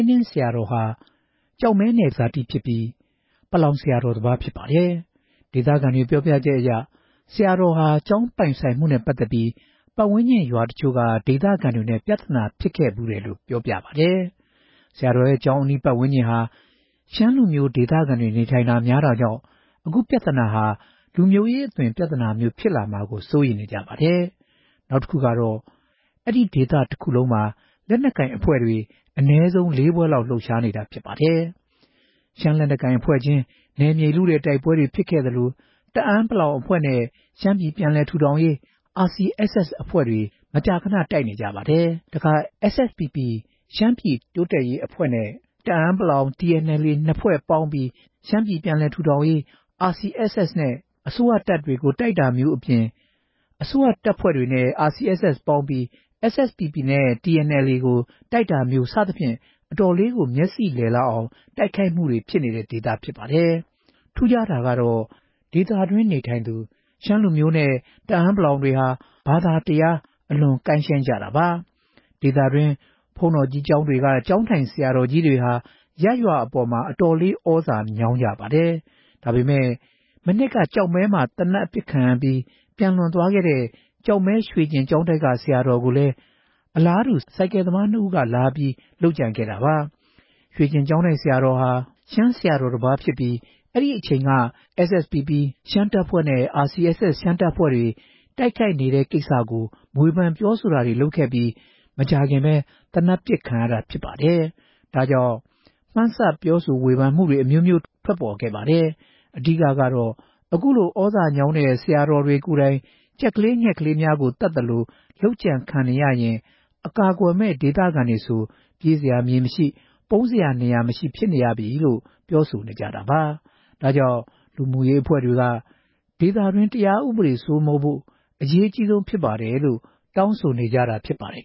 းနင်းဆရာတော်ဟာ ကျောက်မဲနယ် ဇာတိဖြစ်ပြီး ပလောင်တိုင်းရင်းသား ဆရာတော်တစ်ပါးပါ။ ဒေသခံတွေ ပြောပြချက်အရ ဆရာတော်ဟာ ကျောင်းထိုင်တာဝန်ယူတဲ့ကိစ္စနဲ့ ပတ်သက်ပြီး ကျောင်းပတ်ဝန်းကျင်ရွာတချို့က ဒေသခံတွေနဲ့ မကျေမလည်ဖြစ်နေတယ်လို့ ဒေသခံတချို့က ပြောပါတယ်။ ဆရာတော်ရဲ့ ကျောင်းအနီး ပတ်ဝန်းကျင်ဟာ ရှမ်းလူမျိုးဒေသခံတွေ နေထိုင်တာများတာကြောင့် အခုပြဿနာဟာ လူမျိုးရေးအသွင်ပြဿနာမျိုး ဖြစ်လာမှာကိုလည်း စိုးရိမ်နေကြပါတယ်။ နောက်တခုကတော့ အဲဒီဒေသတခုလုံးမှာ လက်နက်ကိုင်အဖွဲ့ အနည်းဆုံးလေးဖွဲ့လောက် လှုပ်ရှားနေတာဖြစ်ပါတယ်။ ရှမ်းလက်နက်ကိုင်အဖွဲ့ချင်း နယ်မြေလုတဲ့တိုက်ပွဲတွေ ဖြစ်ခဲ့သလို တအာင်းပလောင်အဖွဲ့နဲ့ ရှမ်းပြည်ပြန်လည် ထူထောင်ရေး RCSS အဖွဲ့တွေ မကြာခဏ တိုက်နေကြပါတယ် ။တခါ SSPP ရှမ်းပြည်တိုးတက်ရေးတပ်ဖွဲ့နဲ့ တအာင်း ပလောင် TNLA နှစ်ဖွဲ့ပေါင်းပြီး ရှမ်းပြည်ပြန်လည်ထူထောင်ရေး RCSS နဲ့ အစိုးရတပ်ကို တိုက်တာမျိုးအပြင် အစိုးရ တပ်ဖွဲ့တွေနဲ့ RCSS ပေါင်းပြီး SSPPနဲ့ TNLA ကို တိုက်တာမျိုးစသဖြင့် အတော်လေးကို မျက်စိလည်လောက်အောင် တိုက်ခိုက်မှုတွေဖြစ်နေတဲ့ဒေသဖြစ်ပါတယ်။ ထူးခြားတာကတော့ ဒေသတွင်းနေထိုင်သူ ရှမ်းလူမျိုးတွေ တအာင်းပလောင်တွေဟာ ဘာသာတရား အလွန်ကိုင်း ရှိုင်းကြတာပါ။ ဒေသတွင်း ဘုန်းတော်ကြီးကျောင်းတွေက ကျောင်းထိုင်ဆရာတော်တွေဟာ ရပ်ရွာအပေါ် အတော်လေး သြဇာညောင်းကြပါတယ်။ ဒါပေမဲ့ မနှစ်က ကျောက်မဲမှာ သေနတ်အပစ်ခံရပြီး ပျံလွန်တော်မူခဲ့ရတဲ့ ကျောက်မဲရွှေကျင်ကျောင်းတိုက်ဆရာတော် ကိုလည်း အလားတူ ဆိုင်ကယ်သမားနှစ်ဦးက လာပြီး လုပ်ကြံခဲ့တာပါ။ ရွှေကျင်ကျောင်းတိုက် ဆရာတော်ဟာ ရှမ်းဆရာတော်တပါးဖြစ်ပြီး အဲဒီအချိန်က SSPP ရှမ်းတပ်ဖွဲ့နဲ့ RCSS ရှမ်းတပ်ဖွဲ့တို့ တိုက်ခိုက်နေတဲ့ကိစ္စကို ဝေဖန်ပြောဆိုခဲ့ပြီး မကြာခင်သေနတ်ပစ်ခံရတာဖြစ်ပါတယ်။ ဒါကြောင့် မှန်းဆပြောဆို ဝေဖန်မှုတွေ အမျိုးမျိုး ထွက်ခဲ့ပါတယ်။ အဓိက ကတော့ ခုလိုသြဇာညောင်းတဲ့ ဆရာတော်တွေကိုယ်တိုင် ကြက်ကလေး ငှက်ကလေးများကို သတ်ဖြတ်သလို လုပ်ကြံခံနေရရင် အကာအကွယ်မဲ့ ဒေသခံတွေဆို ပြေးစရာ မြေမရှိ ပုန်းစရာနေရာမရှိ ဖြစ်နေရပြီလို့ ပြောဆိုနေ ကြတာပါ။ ဒါကြောင့် လူမှုရေးအဖွဲ့တွေက ဒေသတွင်း တရားဥပဒေစိုးမိုးဖို့ အရေးကြီးဆုံး ဖြစ်တယ်လို့ တောင်းဆိုနေတာဖြစ်ပါတယ်